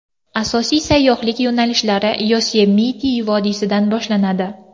Asosiy sayyohlik yo‘nalishlari Yosemite vodiysidan boshlanadi.